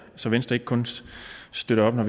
så venstre ikke kun støtter op når